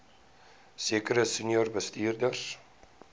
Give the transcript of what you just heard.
sekere senior bestuurders